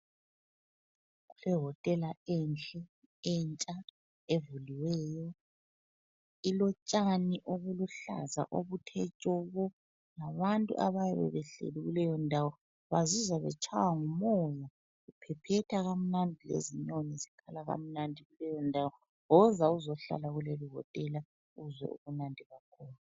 Iwotela enhle entsha evuliweyo. Ilotshani obuluhlaza obuthe tshoko. Labantu abayabe behleli kuleyondawo bazizwa betshaywa ngumoya, uphephetha kamnandi lezinyoni zikhala kamnandi kuleyondawo. Woza uzohlala kuleli wotela uzwe ubumnandi bakhona.